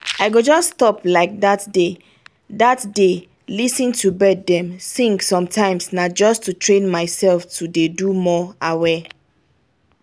i go just stop like dat dey dat dey lis ten to bird dem sing sometimes na just to train myself to dey more aware